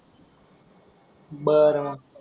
बर मग.